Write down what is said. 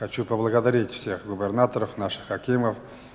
хочу поблагодарить всех губернаторов наших хакимов